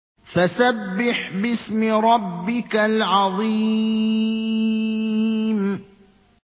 فَسَبِّحْ بِاسْمِ رَبِّكَ الْعَظِيمِ